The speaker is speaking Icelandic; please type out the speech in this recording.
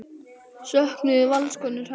Söknuðu Valskonur hennar?